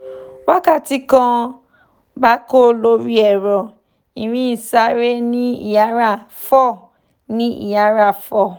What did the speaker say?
wakati kan gbako lori ẹ̀rọ ìrìn isare ni iyara four ni iyara four